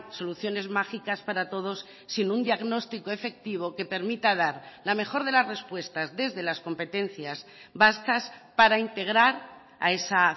soluciones mágicas para todos sin un diagnóstico efectivo que permita dar la mejor de las respuestas desde las competencias vascas para integrar a esa